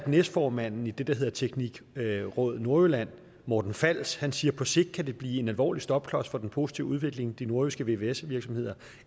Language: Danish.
næstformanden i det der hedder tekniq råd nordjylland morten fals siger på sigt kan blive en alvorlig stopklods for den positive udvikling de nordjyske vvs virksomheder